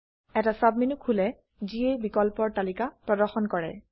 এটা সাবমেনু খোলে যিয়ে বিকল্পৰ তালিকা প্ৰদৰ্শন কৰে